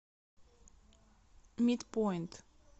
митпоинт